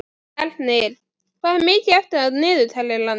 Ernir, hvað er mikið eftir af niðurteljaranum?